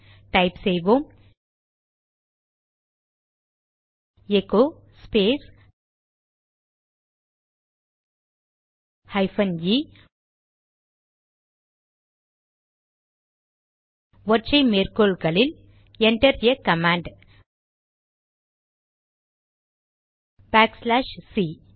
type செய்வோம் echo space hyphen e ஒற்றை மேற்கோளில் enter a command backslash C